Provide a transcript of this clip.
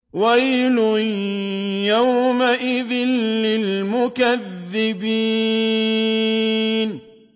وَيْلٌ يَوْمَئِذٍ لِّلْمُكَذِّبِينَ